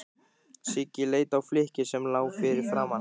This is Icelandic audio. Siggi leit á flykkið sem lá fyrir framan hann.